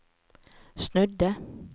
snudde